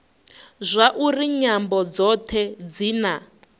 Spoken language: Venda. zwauri nyambo dzothe dzi na